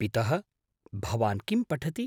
पितः! भवान् किं पठति?